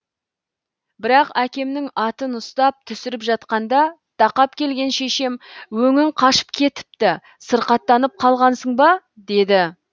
бірақ әкемнің атын ұстап түсіріп жатқанда тақап келген шешем өңің қашып кетіпті сырқаттанып қалғансың ба деді